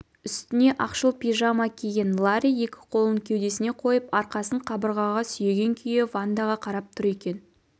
үстіне ақшыл пижама киген ларри екі қолын кеудесіне қойып арқасын қабырғаға сүйеген күйі вандаға қарап тұр екен